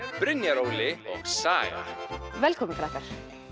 Brynjar Óli og Saga velkomin krakkar